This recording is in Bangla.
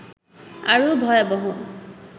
আরও ভয়াবহ